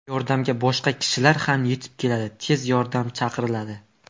Yordamga boshqa kishilar ham yetib keladi, tez yordam chaqiriladi.